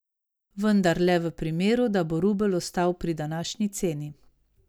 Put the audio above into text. Vendar le v primeru, da bo rubelj ostal pri današnji ceni.